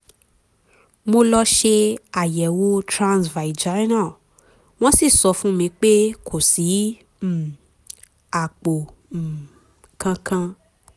mo lọ ṣe àyẹ̀wò transvaginal wọ́n sì sọ fún mi pé kò sí um àpò um kankan